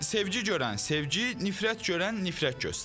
Sevgi görən sevgi, nifrət görən nifrət göstərir.